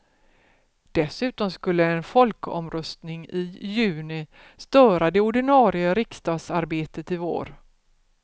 Dessutom skulle en folkomröstning i juni störa det ordinarie riksdagsarbetet i vår.